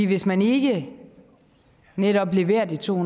hvis man ikke netop leverer de to